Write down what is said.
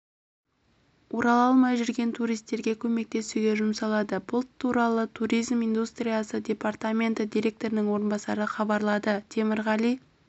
орала алмай жүрген туристерге көмектесуге жұмсалады бұл туралы туризм индустриясы департаменті директорының орынбасары хабарлады темірғали